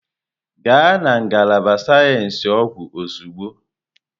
Gaa na ngalaba sayensị ọgwụ ozugbo!